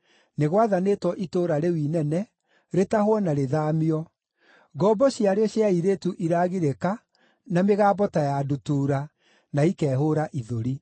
Nĩ gwathanĩtwo itũũra rĩu inene rĩtahwo na rĩthaamio. Ngombo ciarĩo cia airĩtu iragirĩka na mĩgambo ta ya ndutura, na ikehũũra ithũri.